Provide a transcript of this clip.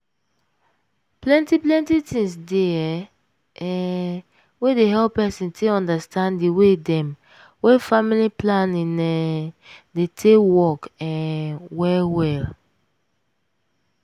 plenty plenty things dey[um][um] wey dey hep pesin take understand di way dem wey family planning um dey take dey work um well well.